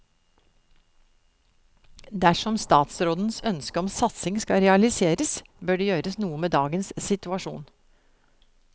Dersom statsrådens ønske om satsing skal realiseres, bør det gjøres noe med dagens situasjon.